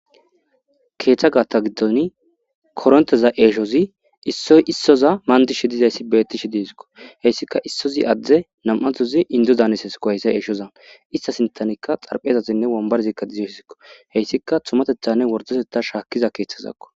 Keetha gaatha gidoni koronteza eeshozi isoy issoza mandishe dizaysi beetishe de'esko.haysika isozi adde nam'anthozi indo daanisesko haysa eeshozan ista sinthanika xarphezazinne wombarazika tumatethanne worddotetha shaakiza keethazako.